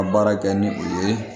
Ka baara kɛ ni u ye